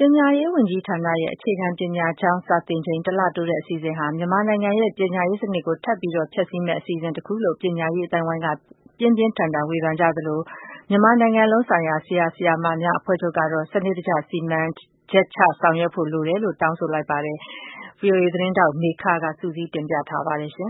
ပညာရေးဝန်ကြီးဌာနရဲ့ အခြေခံပညာကျောင်းစာသင်ချိန် တလတိုးတဲ့ အစီအစဉ်ဟာ မြန်မာနိုင်ငံရဲ့ ပညာရေးစနစ် ကို ထပ်မံဖျက်ဆီးမယ့်အစီအစဉ်တခုလို့ ပညာရေး အသိုင်းအဝိုင်း က ပြင်းပြင်းထန်ထန်ဝေဖန် ကြသလို မြန်မာနိုင်ငံလုံးဆိုင်ရာဆရာ၊ ဆရာမများအဖွဲ့ချုပ် ကတော့ စနစ်တကျ စီမံချက်ချ လုပ်ဆောင်ဖို့ တောင်းဆိုလိုက်ပါတယ်။ ဗွီအိုအေသတင်းထောက်မေခက စုစည်း တင်ပြထားပါတယ်။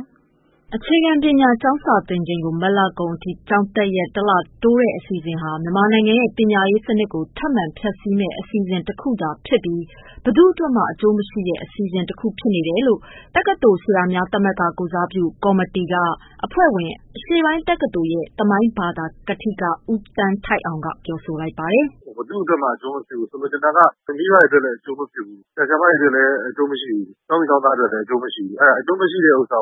အခြေခံပညာကျောင်းစာသင်ချိန်ကို မတ်လကုန်အထိ ကျောင်းတက်ရက် တလတိုးတဲ့ အစီအစဉ်ဟာ မြန်မာနိုင်ငံရဲ့ ပညာရေးစနစ် ကို ထပ်မံဖျက်ဆီးမယ့်အစီအစဉ်တခုသာ ဖြစ်ပြီး ဘယ်သူ့အတွက်မှ အကျိုးမရှိတဲ့ အစီအစဉ်တခု ဖြစ်နေတယ်လို့ တက္ကသိုလ် ဆရာများသမဂ္ဂ ကိုယ်စားပြု ကော်မတီ က အဖွဲ့ဝင် အရှေ့ပိုင်းတက္ကသိုလ် သမိုင်းဘာသာ ကထိက ဦးသန်းထိုက်အောင်က ပြောပါတယ်။ “ဘယ်သူ့အတွက်မှ အကျိုးမဖြစ်ဘူး။ ဆိုလိုတာက မိဘတွေအတွက်လည်း အကျိုးမဖြစ်ဘူး။ဆရာ၊ဆရာမ၊ ကျောင်းသူ၊ကျောင်းသားအတွက်ကော အကျိုးမရှိဘူး။ အကျိုးမရှိတာကိုလုပ်တာ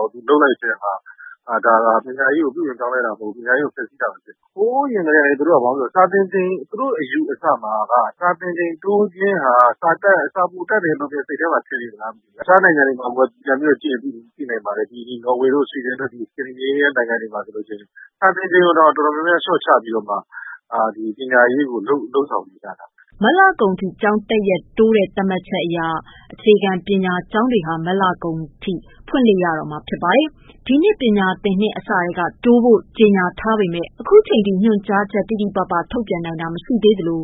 က ပညာရေးကိုတိုးတက်အောင်လုပ်တာမဟုတ်ဘူး။ ဖျက်လိုဖျက်ဆီး လုပ်တာဘဲ။ သူ တို့အယူအဆမှာကိုက စာသင်ချိန်တိုးတာက စာပိုတတ်တယ်လို့များ ထင်နေလို့လားမသိဘူး။ တခြားနိုင်ငံမှာ ကြည့်ရင်သိပါတယ်နော်ဝေတို့ ဆွီဒင်တို့မှာဆိုရင် စာသင်ချိန် တွေကိုတောင် တော်တော်လျော့ပြီးတော့ ပညာရေးကို လုပ်ဆောင်နေတာ။” မတ်လကုန်အထိ ကျောင်းတက်ရက်တိုးတဲ့ သတ်မှတ်ချက်အရ အခြေခံ ပညာကျောင်းတွေဟာ မတ်လကုန် အထိ ဖွင့်လှစ်ရတော့ မှာဖြစ်ပါတယ်။ ဒီနှစ် ပညာသင်နှစ်အစထဲက တိုးဖို့ကြေညာထားပေမယ့် ခုချိန်ထိညွှန်ကြားချက် တိတိပပထုတ်ပြန်နိုင်တာမရှိသေးသလို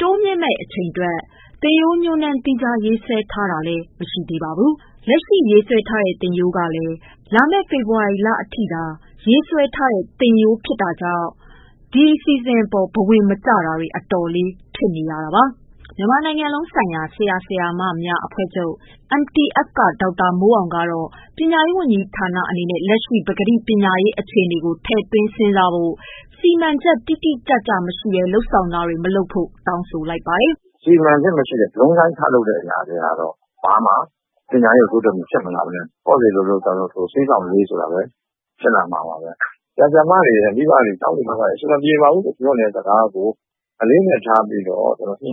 တိုးမြင့်မယ့် အချိန်အတွက် သင်ရိုး ညွှန်းတမ်း သီးခြားရေးဆွဲထား တာမရှိ တာ၊ လက်ရှိရေးဆွဲထားတဲ့ သင်ရိုးကလည်း လာမယ့် ဖေဖော်ဝါရီ အထိသာ ရေးဆွဲထားတာကြောင့် ဒီအစီအစဉ်အပေါ် ဘဝင်မကျမှုတွေ အတော်လေး ထွက်ပေါ်နေတာပါ။ မြန်မာနိုင်ငံလုံးဆိုင်ရာဆရာ၊ ဆရာမများအဖွဲ့ချုပ် က ဒေါက်တာမိုးအောင်ကတော့ ပညာရေးဝန်ကြီးဌာန အနေနဲ့လက်ရှိ ပကတိ ပညာရေး အခြေအနေကို ထည့်သွင်းစဉ်းစားဖို့၊ စီမံချက်တိတိကျကျ မရှိဘဲ လုပ်ဆောင်တာတွေ မလုပ်ဖို့ တောင်းဆိုလိုက်ပါ တယ်။ “ စီမံချက်မရှိ ဗြုံန်းတိုင်းထလုပ်တာတွေကတော့ ဘာမှ ပညာရေးကို ဘာမှ တိုးတက်မှု ဖြစ်မလာပဲနဲ့ ပေါ့စေလိုလို့ ကြောင်ရုပ် ထိုးကာမှ ဆေးကြောင့်လေးတဲ့ အခြေအနေဘဲဖြစ်လာမှာပါဘဲ။ ဆရာဆရာမတွေ၊ မိဘတွေ၊ ကျောင်းသူကျောင်း သားတွေ အဆင်မပြေပါဘူးပြောတဲ့စကားကို အလေးနက်ထားညှိနှို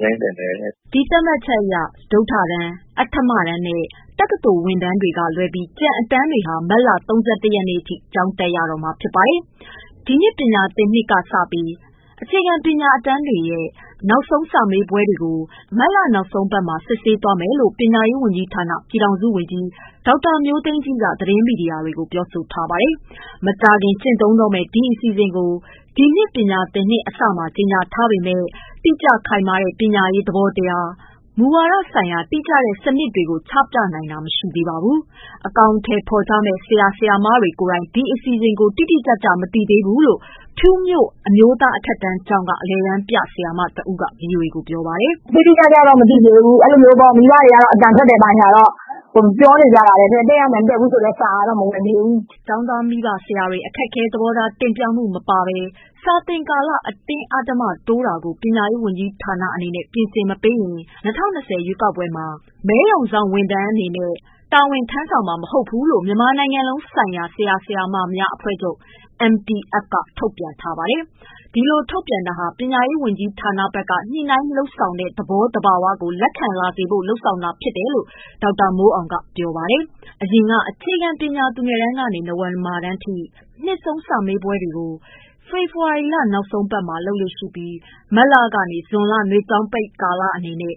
င်းသင့်တယ်။” ဒီသတ်မှတ်ချက်အရ စတုတ္ထတန်း၊ အဌမတန်း နဲ့ တက္ကသိုလ်ဝင်တန်း ကလွဲပြီး ကျန်အတန်းတွေဟာ မတ်လ ၃၁ ရက်နေ့ အထိကျောင်းတက်ရမှာဖြစ်ပါတယ်။ ဒီနှစ်ပညာသင်နှစ်ကနေစပြီး အခြေခံပညာအတန်းများရဲ့ နှစ်ဆုံး စာမေးပွဲတွေကို မတ်လ နောက်ဆုံး ပတ်တွင် စစ်ဆေးသွားမယ်လို့ ပညာရေးဝန်ကြီးဌာန ပြည်ထောင်စု ဝန်ကြီး ဒေါက်တာမျိုးသိမ်းကြီးက သတင်းမီဒီယာတွေ ကို ပြောဆိုထားပါတယ်။မကြာခင် ကျင့်သုံးတော့မယ့် ဒီအစီအစဉ်ကို ဒီနှစ် ပညာသင်နှစ်အစမှာ ကြေညာထားပေ မယ့် တိကျခိုင်မာတဲ့ ပညာရေးသဘောတရား၊ မူဝါဒဆိုင်ရာ တိကျတဲ့ စနစ်ချက်တွေကိုချပြနိုင်တာ မရှိသေးပါဘူး။ အကောင်အထည်ဖော်ကြရမယ့် ဆရာ၊ ဆရာမတွေကိုယ်တိုင် ဒီအစီအစဉ်ကို တိကျမသိသေးဘူး လို့ ဖြူးမြို့ အမျိုးသားအထက်တန်းကျောင်းက အလယ်တန်းပြဆရာမတဦးက ဗွီအိုအေကို ပြောပါတယ်။ “တိတိကျကျမသိသေးဘူး။ မိဘတွေကတော့ အဲလို တက်ရမယ်အသံထွက်တယ်ပြောနေကြတာဘဲ။ တကယ်တက်ရမယ်၊ မတက်ရဘူးဆိုတဲ့စာကတော့မဝင်သေးဘူး” ကျောင်းသား၊ မိဘ၊ ဆရာတွေ အခက်အခဲ သဘောထားတင်ပြမှုမပါဘဲ စာသင်ကာလ အတင်း အဓမ္မတိုးတာကို ပညာရေးဝန်ကြီးဌာနအနေနဲ့ ပြင်ဆင်မပေးရင် ၂၀၂၀ ရွေးကောက်ပွဲမှာ မဲရုံတာဝန်ထမ်း မှာ မဟုတ်ဘူး လို့ မြန်မာနိုင်ငံလုံးဆိုင်ရာဆရာ၊ ဆရာမများအဖွဲ့ချုပ် က ထုတ်ပြန်ထားပါတယ်။ ဒီလိုထုတ်ပြန်တာဟာ ပညာရေး ဝန်ကြီးဌာနဘက်က ညှိနှိုင်းလုပ်ဆောင်တဲ့ သဘောသဘာဝကို လက်ခံလာစေဖို့ လုပ်ဆောင်တာဖြစ် တယ်လို့ ဒေါက်တာမိုးအောင်က ပြောပါတယ်။ အရင်က အခြေခံပညာ သူငယ်တန်းမှ နဝမတန်း တွေရဲ့ နှစ်ဆုံးစာမေးပွဲတွေကိုဖေဖော်ဝါရီ နောက်ဆုံးပတ်မှာ လုပ်လေ့ရှိပြီး မတ်လမှ ဇွန်ထိ နွေကျောင်းပိတ်ကာလ အနေနဲ့